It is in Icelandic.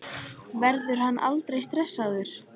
Verður hann aldrei stressaður?